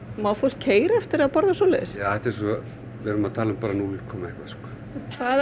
má fólk keyra eftir að borðað svoleiðis já þetta er svo við erum að tala um núll komma eitthvað hvað